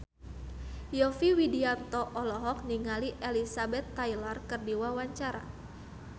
Yovie Widianto olohok ningali Elizabeth Taylor keur diwawancara